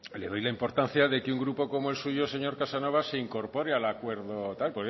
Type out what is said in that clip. le doy la importancia de que un grupo como el suyo señor casanova se incorpore al acuerdo tal